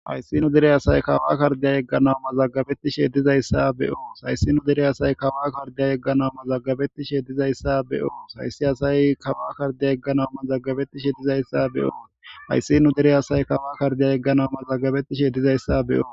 Hayssinu dere asay kawa kardiya yegganau mazagabettishe dizayssa beyo sayssinu dere asay kawa kardiya yeggana mazagabettishe dizayssa beyo sayssi asay kawa kardiya yegganau mazaggabettishe dizayssa beyo hayssinu dere asay kawa kardiya yegganau mazagabettishe dizayssa beyo.